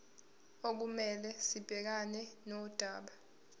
okumele sibhekane nodaba